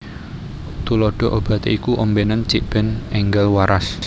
Tuladha Obaté iku ombénen cikbèn énggal waras